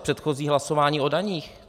Viz předchozí hlasování o daních.